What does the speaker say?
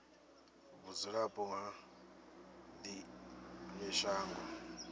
vhudzulapo ha ḽi ṅwe shango